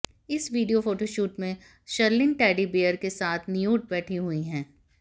इस video photoshoot में Sherlyn teddy bear के साथ न्यूड बैठी हुई हैं